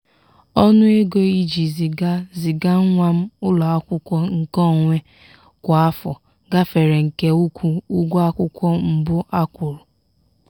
ọnụ ego iji ziga ziga nwa m ụlọakwụkwọ nke onwe kwa afọ gafere nke ukwuu ụgwọ akwụkwọ mbụ a kwụrụ.